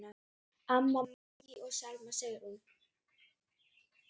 Anna Maggý og Selma Sigrún.